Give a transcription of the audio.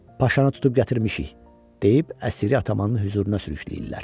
Paşanı tutub gətirmişik, deyib əsiri atamanın hüzuruna sürükləyirlər.